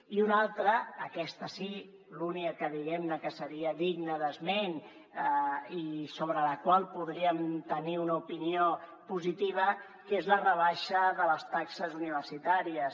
i una altra aquesta sí l’única que diguem ne seria digna d’esment i sobre la qual podríem tenir una opinió positiva que és la rebaixa de les taxes universitàries